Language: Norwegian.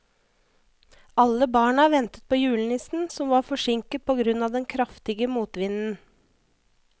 Alle barna ventet på julenissen, som var forsinket på grunn av den kraftige motvinden.